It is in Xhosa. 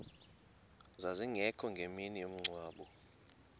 zazingekho ngemini yomngcwabo